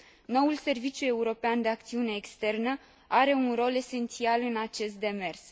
Noul Serviciu European de Acțiune Externă are un rol esențial în acest demers.